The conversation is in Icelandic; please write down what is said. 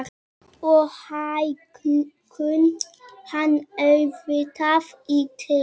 Og hækkum hann auðvitað í tign.